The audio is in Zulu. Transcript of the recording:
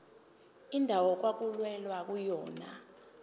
indawo okwakulwelwa kuyona